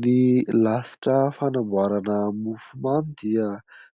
Ny lasitra fanamboarana mofo mamy dia